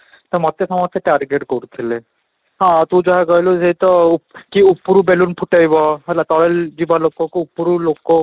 ତ ମତେ ସମସ୍ତେ target କରୁଥିଲେ, ହଁ ତୁ ଯାହା କହିଲୁ ସେଇ ତ କିଏ ଉପରୁ ବେଲୁନ ଫୁଟେଇବ ହେଲା ତଳେ ଯିବା ଲୋକକୁ ଉପରୁ ଲୋକ